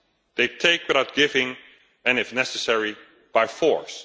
They take without giving and if necessary by force.